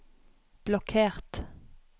blokkert